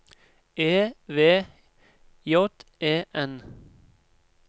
E V J E N